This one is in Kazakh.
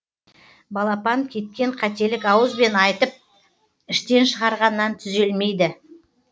балапан кеткен қателік ауызбен айтып іштен шығарғаннан түзелмейді